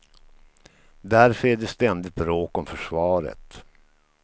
Därför är det ständigt bråk om försvaret.